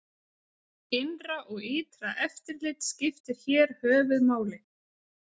Innra og ytra eftirlit skiptir hér höfuð máli.